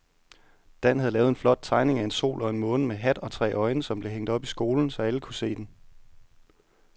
Dan havde lavet en flot tegning af en sol og en måne med hat og tre øjne, som blev hængt op i skolen, så alle kunne se den.